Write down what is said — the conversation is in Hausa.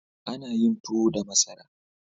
Ana yin tuwo da masara.